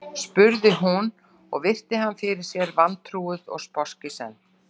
spurði hún og virti hann fyrir sér vantrúuð og sposk í senn.